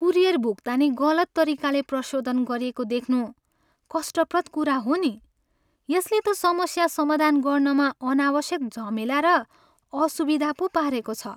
Courier भुक्तानी गलत तरिकाले प्रशोधन गरिएको देख्नु कष्टप्रद कुरा हो नि, यसले त समस्या समाधान गर्नमा अनावश्यक झमेला र असुविधा पो पारेको छ।